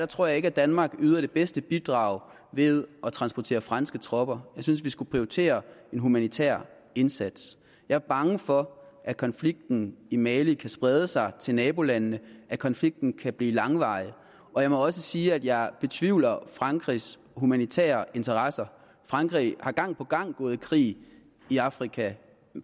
tror ikke at danmark yder det bedste bidrag ved at transportere franske tropper jeg synes vi skulle prioritere en humanitær indsats jeg er bange for at konflikten i mali kan sprede sig til nabolandene at konflikten kan blive langvarig og jeg må også sige at jeg betvivler frankrigs humanitære interesser frankrig er gang på gang gået i krig i afrika